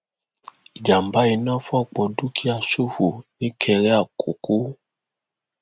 ìjàmbá iná fòpọ dúkìá ṣòfò nìkéré àkókò